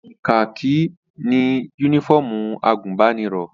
Kakí ni yúnífọ̀mù àgùnbánirọ̀